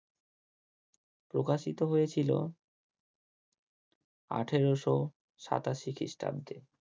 প্রকাশিত হয়েছিল আঠেরোশো সাতাশি খ্রিস্টাব্দে।